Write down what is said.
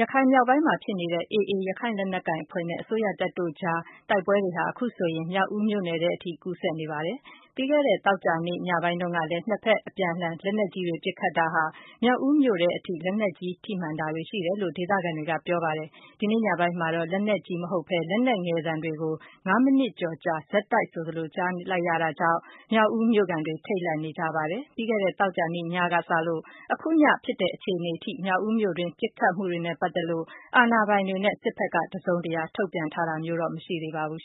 ရခိုင်မြောက်ပိုင်းမှာဖြစ်နေတဲ့ AA ရခိုင်လက်နက်ကိုင်အဖွဲ့နဲ့ အစိုးရတပ်တို့အကြား တိုက်ပွဲတွေဟာ အခုဆိုရင် မြောက်ဦးမြို့နယ်ထဲအထိ ကူးစက် နေပါတယ်။ ပြီးခဲ့တဲ့ သောကြာနေ့ညပိုင်းတုန်းကလဲ နှစ်ဖက် အပြန်အလှန်လက်နက်ကြီးတွေ ပစ်ခတ်တာဟာ မြောက်ဦးမြို့ထဲအထိ လက်နက်ကြီး ထိမှန်တာတွေရှိတယ်လို့ ဒေသခံတွေက ပြောပါတယ်။ ဒီနေ့ညပိုင်းမှာတာ့ လက်နက်ကြီးမဟုတ်ပဲ လက်နက်ငယ်သံတွေကို ၅မိနစ်ကျော်ကြာ ဆက်တိုက်ဆိုသလို ကြားလိုက်ရတာကြောင့်၊ မြောက်ဦးမြို့ခံတွေ ထိတ်လန့်နေကြပါတယ်။ ပြီးခဲ့တဲ့ သောကြာနေ့ညကစလို့ အခု ည ဖြစ်တဲ့အခြေအနေအထိ မြောက်ဦးမြို့အတွင်း ပစ်ခတ်မှုတွေနဲ့ပတ်သက်လို့ အာဏာပိုင်တွေ နဲ့ စစ်ဖက်က တစုံတရာ ထုတ်ပြန်တာမျိုးမရှိသေးပါဘူး